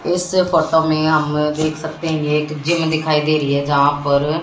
इस फोटो में हम देख सकते हैं एक जिम दिखाई दे रही है यहां पर--